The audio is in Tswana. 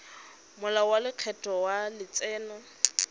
molao wa lekgetho wa letseno